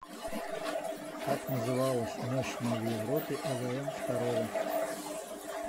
как называлась мощная в европе эвм второго